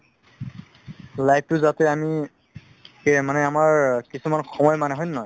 life তো যাতে আমি মানে আমাৰ ‌‌‌ হয় নে নহয়